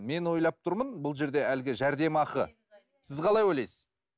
мен ойлап тұрмын бұл жерде әлгі жәрдемақы сіз қалай ойлайсыз